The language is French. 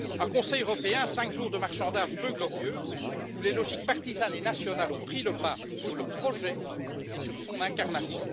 Un Conseil européen, cinq jours de marchandages peu glorieux où les logiques partisanes et nationales ont pris le pas sur le projet et sur son incarnation.